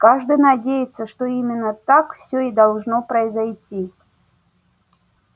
каждый надеется что именно так всё и должно произойти